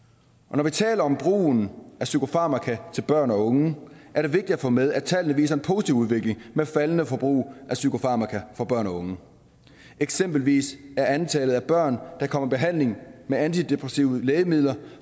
når vi taler om brugen af psykofarmaka til børn og unge er det vigtigt at få med at tallene viser en positiv udvikling med et faldende forbrug af psykofarmaka for børn og unge eksempelvis er antallet af børn der kommer i behandling med antidepressive lægemidler